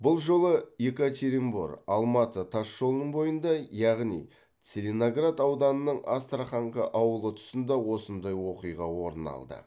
бұл жолы екатеринбор алматы тас жолының бойында яғни целиноград ауданының астраханка ауылы тұсында осындай оқиға орын алды